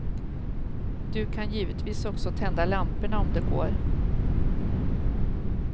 Du kan givetvis också tända lamporna om det går.